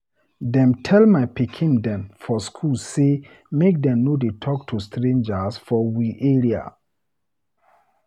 Dem tel my pikin dem for school sey make dem no dey talk to strangers for we area.